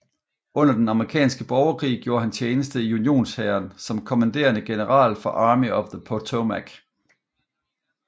Under den amerikanske borgerkrig gjorde han tjeneste i unionshæren som kommanderende general for Army of the Potomac